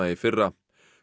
í fyrra